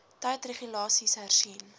tyd regulasies hersien